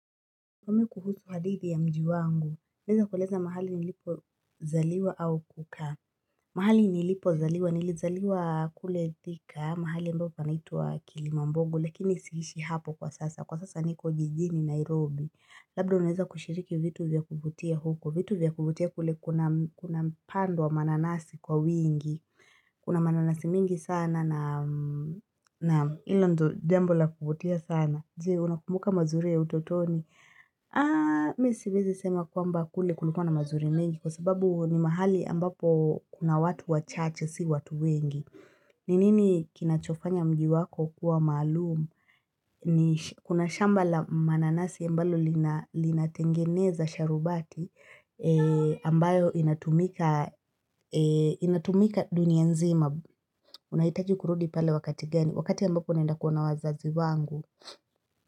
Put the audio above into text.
Niambie kuhusu hadithi ya mji wangu, naeza kueleza mahali nilipo zaliwa au kukaa, mahali nilipo zaliwa, nilizaliwa kule thika, mahali ambapo panaitwa kilimamboga, lakini siishi hapo kwa sasa kwa sasa niko jijini Nairobi, labda unaeza kushiriki vitu vya kuvutia huko, vitu vya kuvutie kule kuna kuna mpando wa mananasi kwa wingi, kuna mananasi mingi sana naam hilo ndo jambo la kuvutia sana. Je, unakumbuka mazuri ya utotoni. Mi siwezi sema kwamba kule kulikuwa na mazuri mengi kwa sababu ni mahali ambapo kuna watu wa chache, si watu wengi. Ninini kinachofanya mji wako kuwa malumu? Ni kuna shamba mananasi ambalo linatengeneza sharubati ambayo inatumika dunia nzima. Unahitaji kurudi pale wakati gani, wakati ambapo naenda kuona wazazi wangu.